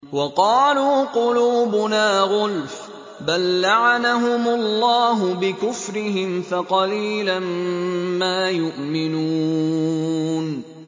وَقَالُوا قُلُوبُنَا غُلْفٌ ۚ بَل لَّعَنَهُمُ اللَّهُ بِكُفْرِهِمْ فَقَلِيلًا مَّا يُؤْمِنُونَ